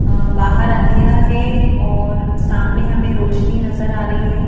अ बाहर अंधेरा है और सामने हमें रोशनी नजर आ रही है.